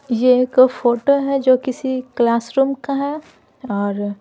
यह एक फोटो है जो किसी क्लासरूम का है और--